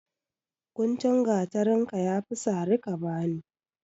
Guntun gatarinka ya fi sari ka bani.